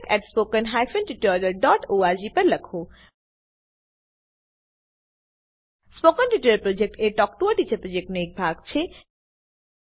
spoken tutorial project talk to a teacher પ્રોજેક્ટનો એક ભાગ છે